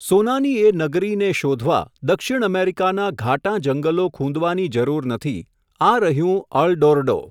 સોનાની એ નગરીને શોધવા, દક્ષિણ અમેરિકાનાં ઘાટાં જંગલો ખૂંદવાની જરૂર નથી, આ રહ્યું અલ ડોરડો !.